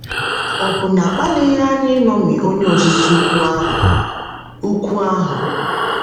Ọ̀ bụ na a kpalighị anyị iṅomi Onye Ozizi Ukwu ahụ? Ukwu ahụ?